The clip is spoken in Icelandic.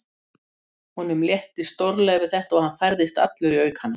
Honum létti stórlega við þetta og hann færðist allur í aukana.